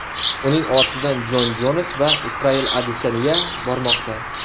Uning ortidan Jon Jons va Israel Adesanya bormoqda.